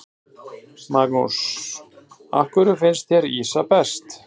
Magnús: Af hverju finnst þér ýsa best?